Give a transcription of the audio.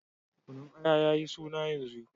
Kunun Aya ya yi suna yanzu.